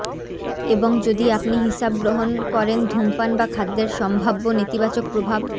এবং যদি আপনি হিসাব গ্রহণ করেন ধূমপান বা খাদ্যের সম্ভাব্য নেতিবাচক প্রভাব